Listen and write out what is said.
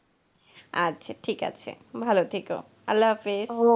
আচ্ছা ঠিক আছে ভাল থেকো, আল্লাহ হাফিস.